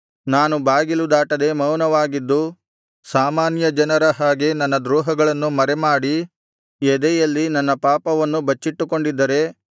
ನಾನು ಬಾಗಿಲು ದಾಟದೆ ಮೌನವಾಗಿದ್ದು ಸಾಮಾನ್ಯ ಜನರ ಹಾಗೆ ನನ್ನ ದ್ರೋಹಗಳನ್ನು ಮರೆಮಾಡಿ ಎದೆಯಲ್ಲಿ ನನ್ನ ಪಾಪವನ್ನು ಬಚ್ಚಿಟ್ಟುಕೊಂಡಿದ್ದರೆ